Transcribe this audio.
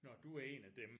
Nå du er en af dem